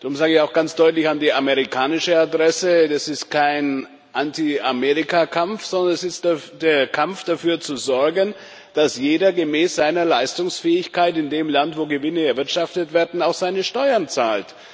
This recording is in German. Darum sage ich auch ganz deutlich an die amerikanische Adresse Das ist kein Anti Amerika Kampf, sondern es ist der Kampf, dafür zu sorgen, dass jeder gemäß seiner Leistungsfähigkeit in dem Land, wo Gewinne erwirtschaftet werden, auch seine Steuern zahlt.